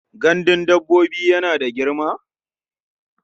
Gandun dabbobin yana da girma?